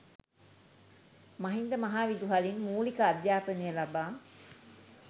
මහින්ද මහ විදුහලින් මුලික අධ්‍යාපනය ලබා